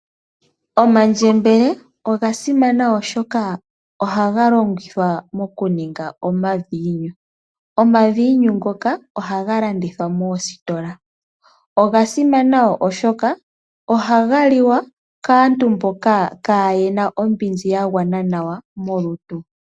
Omandjembele oga simana, oshoka ohaga longithwa okuninga omaviinyu ngoka haga landithwa moositola. Oga simana, oshoka ohaga liwa kaantu mboka yaana ombinzi yagwa nawa molutu.